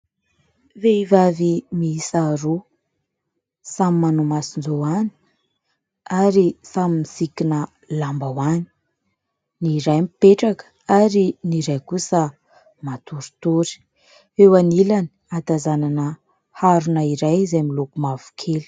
Vehivavy mihisa roa samy manao mason-jôany ary samy misikina lamba hoany, ny iray mipetraka ary ny iray kosa matorotory, eo anilany hatazanana arona iray izay miloko mavokely.